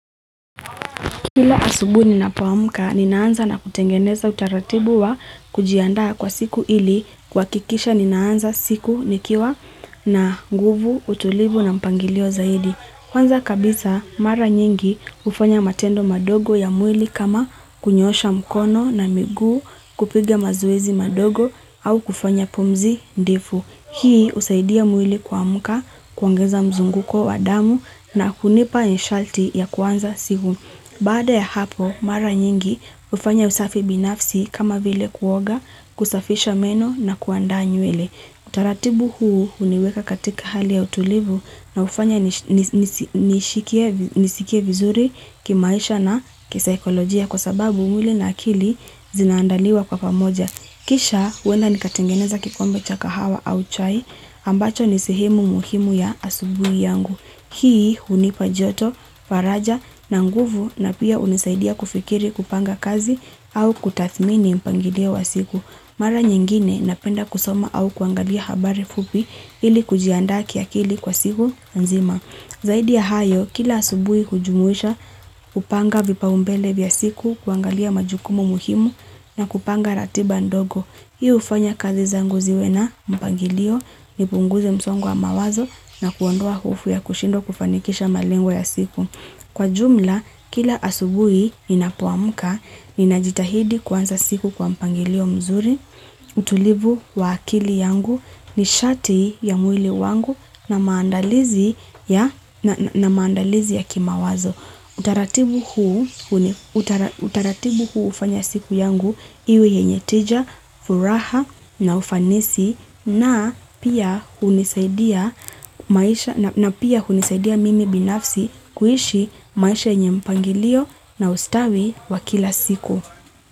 Kila asubui ninapoamuka ninaanza na kutengeneza utaratibu wa kujiandaa kwa siku ili kwakikisha ninaanza siku nikiwa na nguvu, utulivu na mpangilio zaidi. Kwanza kabisa mara nyingi ufanya matendo madogo ya mwili kama kunyosha mkono na migu kupiga mazoezi madogo au kufanya pumzi ndifu. Hii usaidia mwili kwamuka kuongeza mzunguko wa damu na kunipa nishalti ya kwanza siku. Bada ya hapo, mara nyingi ufanya usafi binafsi kama vile kuoga, kusafisha meno na kuandaa nywele. Taratibu huu uniweka katika hali ya utulivu na ufanya nisikie vizuri kimaisha na kisaikolojia kwa sababu mwili na akili zinaandaliwa kwa pamoja. Kisha, wenda nikatengeneza kikombe cha kahawa au chai ambacho nisehemu muhimu ya asubui yangu. Hii unipa joto, faraja na nguvu na pia unisaidia kufikiri kupanga kazi au kutathmini mpangilo wa siku. Mara nyingine napenda kusoma au kuangalia habari fupi ili kujianda kiakili kwa siku nzima. Zaidi ya hayo, kila asubui hujumuisha, kupanga vipa umbele vya siku, kuangalia majukumu muhimu na kupanga ratiba ndogo. Hii ufanya kazi zangu ziwe na mpangilio nipunguze msongo wa mawazo na kuondoa hofu ya kushindwa kufanikisha malengo ya siku. Kwa jumla, kila asubui ninapoamuka, ninajitahidi kwanza siku kwa mpangilio mzuri, utulivu wa akili yangu nishati ya mwili wangu na maandalizi ya kimawazo. Utaratibu huu ufanya siku yangu iwe yenye tija, furaha na ufanisi na pia kunisaidia mimi binafsi kuishi maisha yenye mpangilio na ustawi wakila siku.